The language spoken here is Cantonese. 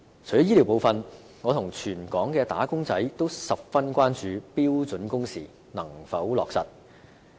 除了醫療部分，我和全港的"打工仔"均十分關注標準工時能否落實。